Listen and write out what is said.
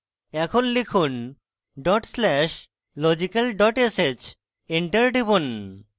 এখন লিখুন dot slash logical dot sh enter টিপুন